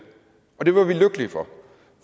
og det var vi lykkelige for